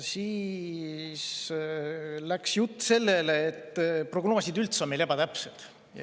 Siis läks jutt sellele, et prognoosid on meil üldse ebatäpsed.